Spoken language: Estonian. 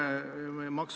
Nii et aitäh!